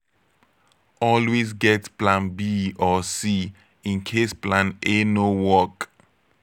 always get plan b or c in case plan a no work